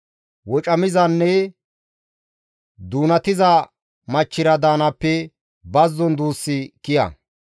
Wocamizanne doonatiza machchira daanaappe bazzon duussi kiya.